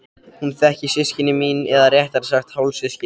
Hún þekkir systkini mín eða réttara sagt hálfsystkini.